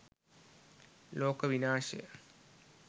loka vinashaya